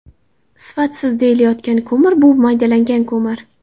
Sifatsiz deyilayotgan ko‘mir bu maydalangan ko‘mir.